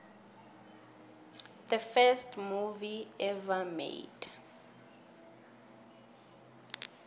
the first movie ever made